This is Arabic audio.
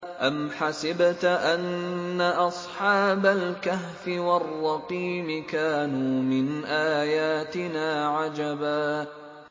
أَمْ حَسِبْتَ أَنَّ أَصْحَابَ الْكَهْفِ وَالرَّقِيمِ كَانُوا مِنْ آيَاتِنَا عَجَبًا